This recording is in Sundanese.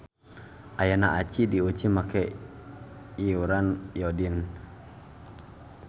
Ayana aci diuji make leyuran iodin.